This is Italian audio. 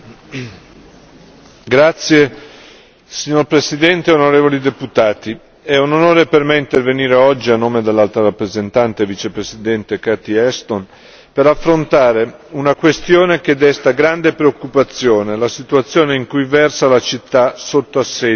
Signor Presidente, onorevoli deputati, è un onore per me intervenire oggi a nome dell'Alto rappresentante vicepresidente Catherine Ashton per affrontare una questione che desta grande preoccupazione, la situazione in cui versa la città sotto assedio Ain al Arab Kobane.